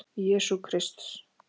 Jesú Krists.